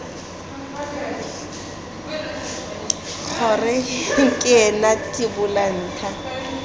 kgr ke ena tibola ntha